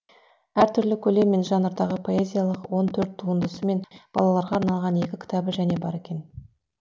әр түрлі көлем мен жанрдағы поэзиялық он төрт туындысы мен балаларға арналған екі кітабы және бар екен